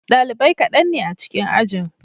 Dalibai kaɗan ne a cikin ajin.